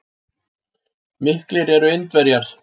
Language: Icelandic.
Miklir eru Indverjar.